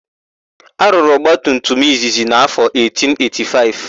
A rụrụ ọgbatumtum izizi n'áfọ 1885.